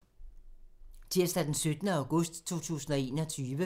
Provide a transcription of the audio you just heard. Tirsdag d. 17. august 2021